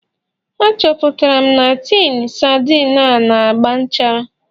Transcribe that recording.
Achọpụtara m na tinu sardine a na-agba nchara